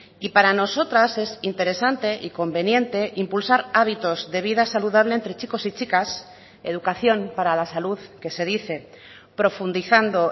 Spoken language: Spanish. y para nosotras es interesante y conveniente impulsar hábitos de vida saludable entre chicos y chicas educación para la salud que se dice profundizando